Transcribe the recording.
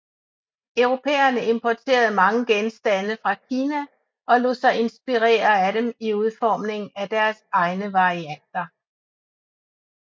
Europæerne importerede mange genstande fra Kina og lod sig inspirere af dem i udformning af deres egne varianter